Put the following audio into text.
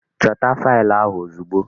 Chota fail ahụ ozugbo!